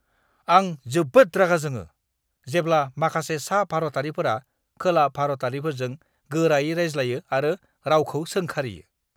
आं जोबोद रागा जोङो, जेब्ला माखासे सा-भारतारिफोरा खोला-भारतारिफोरजों गोरायै रायज्लायो आरो रावखौ सोंखारियो!